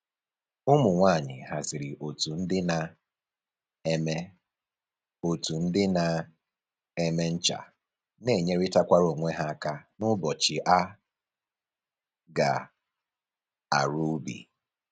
Ụmụ nwanyị haziri otu ndị na-eme otu ndị na-eme ncha na enyerịtakwara onwe ha aka n'ụbọchị a ga-arụ ubi